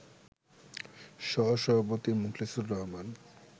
সহ-সভাপতি মোকলেছুর রহমান